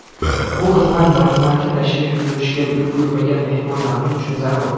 Bu xizmat majmuaga tashrif buyurishga ulgurmagan mehmonlarimiz uchun zarur.